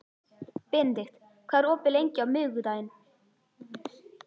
Benedikt, hvað er opið lengi á miðvikudaginn?